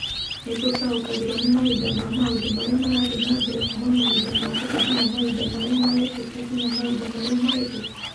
Nĩ tũtaũkagĩrũo nĩ mahinda na Maũndũ marĩa marathiĩ na mbere kuuma mahinda mokĩte nginya mahinda marĩa marekĩka nginya mahinda marĩa mahetũku.